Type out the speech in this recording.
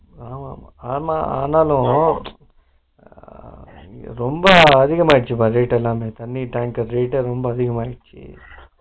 ஆமா ஆமா ஆமான்னு ஆஹா ரொம்ப அதிகமகிடுச்சுப்பா rate எல்லாமே தண்ணி tanker rate எல்லா அதிகமாகிடுச்சு